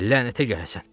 Lənətə gələsən!